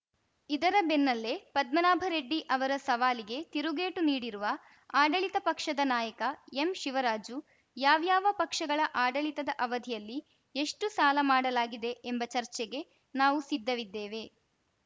ಇದರ ಬೆನ್ನಲ್ಲೇ ಪದ್ಮನಾಭರೆಡ್ಡಿ ಅವರ ಸವಾಲಿಗೆ ತಿರುಗೇಟು ನೀಡಿರುವ ಆಡಳಿತ ಪಕ್ಷದ ನಾಯಕ ಎಂಶಿವರಾಜು ಯಾವ್ಯಾವ ಪಕ್ಷಗಳ ಆಡಳಿತದ ಅವಧಿಯಲ್ಲಿ ಎಷ್ಟುಸಾಲ ಮಾಡಲಾಗಿದೆ ಎಂಬ ಚರ್ಚೆಗೆ ನಾವು ಸಿದ್ಧವಿದ್ದೇವೆ